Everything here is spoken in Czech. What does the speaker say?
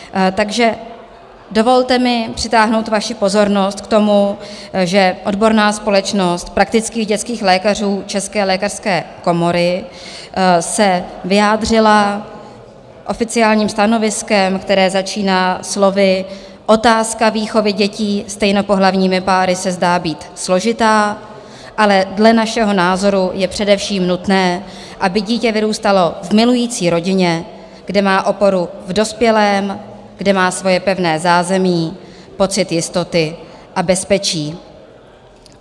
Takže dovolte mi přitáhnout vaši pozornost k tomu, že Odborná společnost praktických dětských lékařů České lékařské komory se vyjádřila oficiálním stanoviskem, které začíná slovy: "Otázka výchovy dětí stejnopohlavními páry se zdá být složitá, ale dle našeho názoru je především nutné, aby dítě vyrůstalo v milující rodině, kde má oporu v dospělém, kde má svoje pevné zázemí, pocit jistoty a bezpečí."